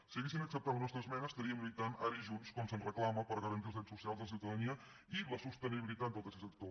si haguessin acceptat la nostra esmena estaríem lluitant ara i junts com se’ns reclama per garantir els drets socials de la ciutadania i la sostenibilitat del tercer sector